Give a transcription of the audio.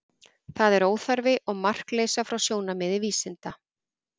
Það er óþarfi, og markleysa frá sjónarmiði vísinda.